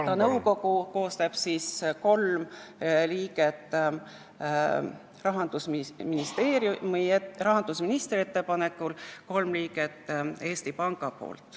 Ta nõukogu koosseis on selline: kolm liiget rahandusministri ettepanekul ja kolm liiget Eesti Panga poolt.